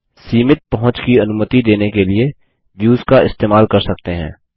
सीमित पहुँच की अनुमति देने के लिए व्युस का इस्तेमाल कर सकते हैं